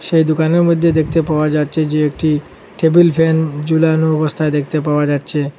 সেই দুকানের মইধ্যে দেখতে পাওয়া যাচ্ছে যে একটি টেবিল ফ্যান ঝুলানো অবস্থায় দেখতে পাওয়া যাচ্ছে।